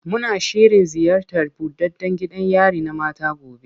Muna shirin ziyartar buɗaɗɗan gidan yari na mata gobe.